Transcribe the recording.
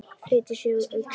Flýtir sér úr augsýn.